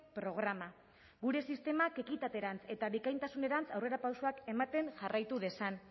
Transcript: programa gure sistemak ekitaterantz eta bikaintasunerantz aurrerapausoak ematen jarraitu dezan